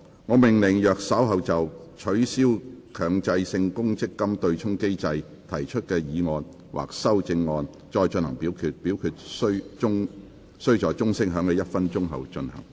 我命令若稍後就"取消強制性公積金對沖機制"所提出的議案或修正案再進行點名表決，表決須在鐘聲響起1分鐘後進行。